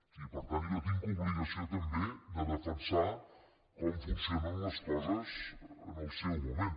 i per tant jo tinc obligació també de defensar com funcionen les coses en el seu moment